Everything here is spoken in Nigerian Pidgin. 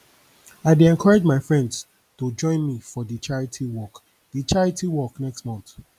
i dey encourage my friends to join me for di charity walk di charity walk next month